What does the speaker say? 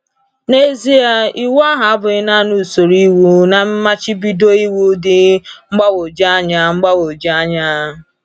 N’ezie, Iwu ahụ abụghị naanị usoro iwu na mmachibido iwu dị mgbagwoju anya. mgbagwoju anya.